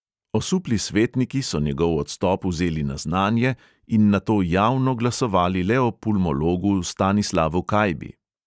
Osupli svetniki so njegov odstop vzeli na znanje in nato javno glasovali le o pulmologu stanislavu kajbi.